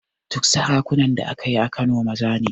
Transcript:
Duk sarakunan da aka yi a Kano maza ne